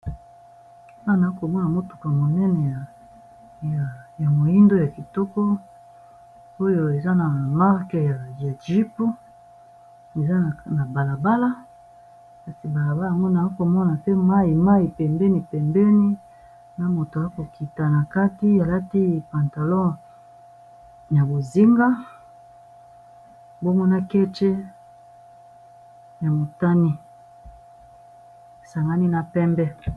Awa naakomona ,motuka monene ya moindo ya kitoko oyo eza na marque ya jeep, eza na balabala kasi balabala yango naakomona te mai mai pembeni epembeni na moto a kokita na kati alati pantalon ya bozinga bomona kece ya motani esangani na pembe.